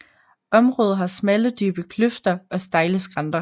Området har smalle dybe kløfter og stejle skrænter